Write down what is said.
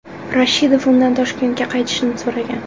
Rashidov undan Toshkentga qaytishni so‘ragan.